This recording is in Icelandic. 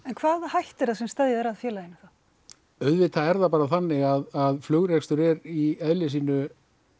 en hvaða hætta er það sem steðjar að félaginu þá auðvitað er það bara þannig að flugrekstur er í eðli sínu